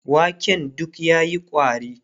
waken duk yayi ƙwari